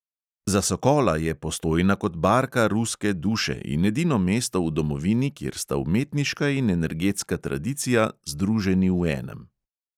Za sokola je postojna kot barka ruske duše in edino mesto v domovini, kjer sta umetniška in energetska tradicija združeni v enem.